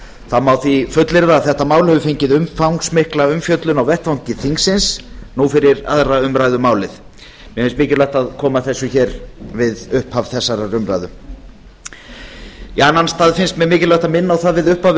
það má því fullyrða að þetta mál hefur fengið umfangsmikla umfjöllun á vettvangi þingsins nú fyrir aðra umræðu um málið mér finnst mikilvægt að koma þessu að við upphaf þessarar umræðu í annan stað finnst mér mikilvægt að minna á það við upphaf